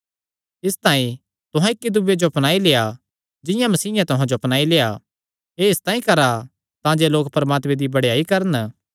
इसतांई तुहां इक्की दूये जो अपनाई लेआ जिंआं मसीयें तुहां जो अपनाई लेआ एह़ इसतांई करा तांजे लोक परमात्मे दी बड़ेयाई करन